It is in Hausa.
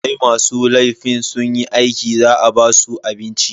Sai masu laifin sunyi aiki za a basu abinci.